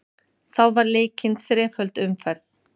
Þá var leikin þreföld umferð